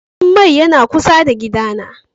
Gidan mai yana kusa da gida na.